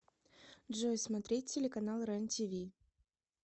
джой смотреть телеканал рен тиви